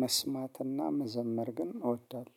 መስማትና መዘመር ግን እወዳለሁ